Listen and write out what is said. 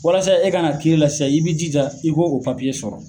Walasa e ka na kiiri la sisan i b'i jija i k'o papiye sɔrɔ.